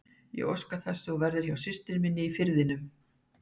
Ég óska þess að þú verðir hjá systur minni í Firðinum.